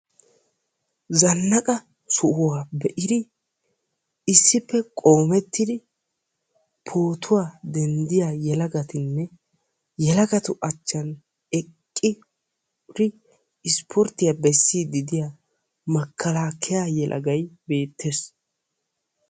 Zannaaqa sohuwaa be'idi issippe qoomettidi pootuwaa denddiyaa yelagatinne yelagati matani eqqi issiporttiyaa bessiyaa makalakaya yelagay beettees.